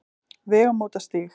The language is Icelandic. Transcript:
Vegamótastíg